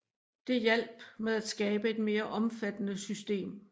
Det hjalp med at skabe et mere omfattende system